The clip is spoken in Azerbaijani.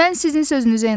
Mən sizin sözünüzə inanmıram.